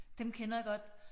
Dem kender jeg godt